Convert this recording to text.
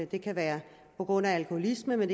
det kan være på grund af alkoholisme men